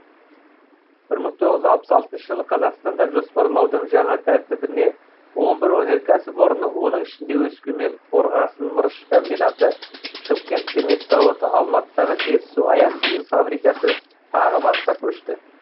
бір мың тоғыз жүз алпыс алтыншы жылы қазақстанда жоспарлаудың жаңа тәртібіне он бір өнеркәсіп орны оның ішінде өскемен қорғасын мырыш комбинаты шымкент цемент зауыты алматыдағы жетісу аяқ киім фабрикасы тағы басқа көшті